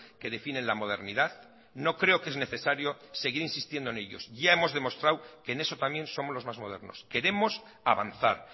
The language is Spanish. que definen la modernidad no creo que es necesario seguir insistiendo en ellos ya hemos demostrado que en eso también somos los más modernos queremos avanzar